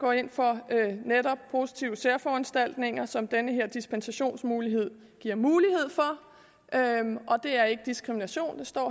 går ind for netop positive særforanstaltninger som den her dispensationsmulighed giver mulighed for og det er ikke diskrimination det står